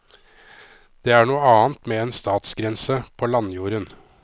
Det er noe annet med en statsgrense på landjorden.